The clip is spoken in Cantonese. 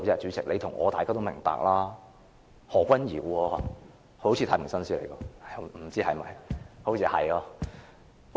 主席，你和我及大家也明白，是何君堯議員，他好像是太平紳士，是嗎？